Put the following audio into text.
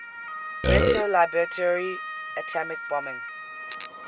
retaliatory atomic bombing